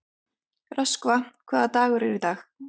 Röskva, hvaða dagur er í dag?